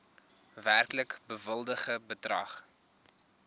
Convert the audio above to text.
werklik bewilligde bedrag